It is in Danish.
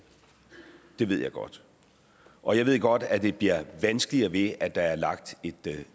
det ved jeg godt og jeg ved godt at det bliver vanskeligere ved at der er lagt et